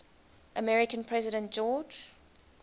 american president george